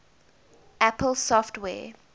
apple software